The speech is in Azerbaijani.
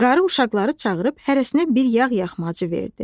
Qarı uşaqları çağırıb hərəsinə bir yağ-yağmacı verdi.